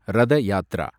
Rath Yatra